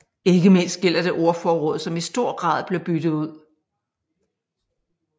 Ikke mindst gælder det ordforråd som i stor grad blev byttet ud